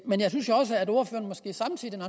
men jeg synes jo også at ordføreren måske samtidig når